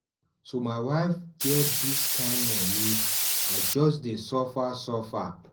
So my wife get dis kind moni, I just dey suffer suffer.